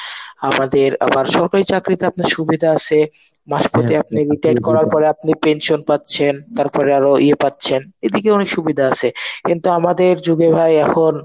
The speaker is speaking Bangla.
আমাদের আবার সরকারি চাকরিতে আপনার সুবিধা আসে. মাঝপথে আপনি retire করার পরে আপনি pension পাচ্ছেন তার পরে আরো ইয়ে পাচ্ছেন. এদিকে অনেক সুবিধা আছে. কিন্তু আমাদের যুগে ভাই এখন